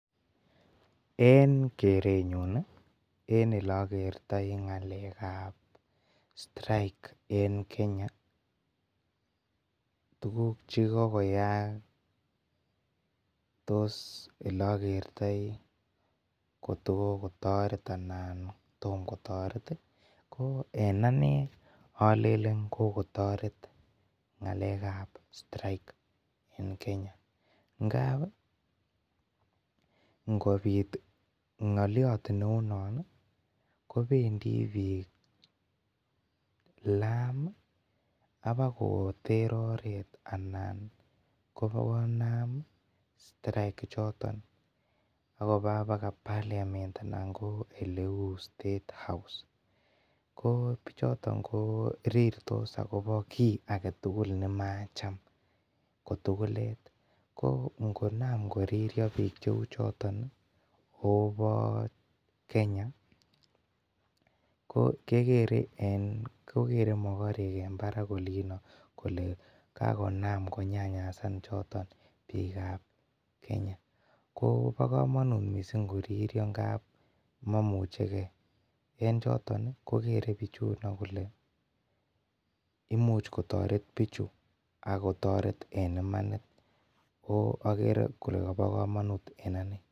En keretnyu en eleakertai ng'alekab strike en Kenya tukuk chekokoyai en eleaketai ko kokotoret anan tom kotaret. En anei alene kokotaret strike en Kenya ngab ih ngobit ng'aliot neuunon ih kobendii bik laam ih, akbokoter oret anan bokonam strike ichoto akoba baga parliament anan ko eleuu state house ko ko bichoto ko rirtos akobo ki agetugul nemacham kotugulet ko ngonaam koriria bik cheuu choton akobaa kokere mogorek en barak kole olino kole kakonam konyanyasan Kenya. Ko ba kamanut ngo riria ngaap mamucheke, ko choton ko Gere kole bichuno kole imuch kotogo toret bichu akotoreti en imanit akere kole bo komanut en anee.